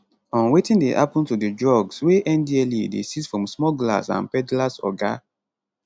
on wetin dey happen to di drugs wey ndlea dey seize from smugglers and peddlers oga